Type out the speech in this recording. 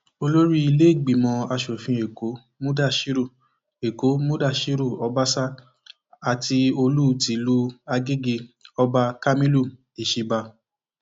olórí ìlẹgbẹmọ asòfin èkó mudashiru èkó mudashiru ọbaṣà àti olú tìlú àgègé ọba kamilu isiba